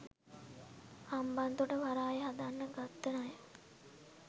හම්බන්තොට වරාය හදන්න ගත්ත ණය.